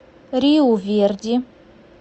риу верди